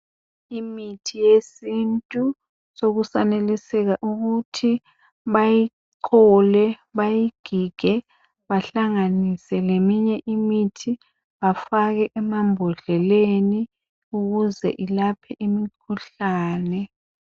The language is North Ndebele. imithi yesintu sekusaneliseka ukuthi bayichole bayigige bahlanganise leminye imithi bafake emambodleleni ukuze ilaphe imikhuhlane